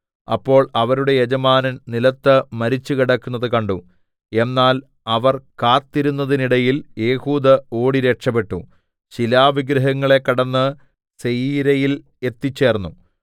അപ്പോൾ അവരുടെ യജമാനൻ നിലത്ത് മരിച്ചു കിടക്കുന്നത് കണ്ടു എന്നാൽ അവർ കാത്തിരുന്നതിന്നിടയിൽ ഏഹൂദ് ഓടി രക്ഷപ്പെട്ടു ശിലാവിഗ്രഹങ്ങളെ കടന്ന് സെയീരയിൽ എത്തിച്ചേർന്നു